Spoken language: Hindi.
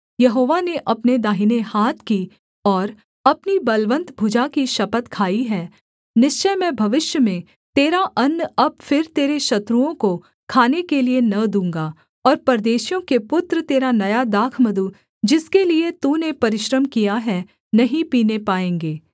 यहोवा ने अपने दाहिने हाथ की और अपनी बलवन्त भुजा की शपथ खाई है निश्चय मैं भविष्य में तेरा अन्न अब फिर तेरे शत्रुओं को खाने के लिये न दूँगा और परदेशियों के पुत्र तेरा नया दाखमधु जिसके लिये तूने परिश्रम किया है नहीं पीने पाएँगे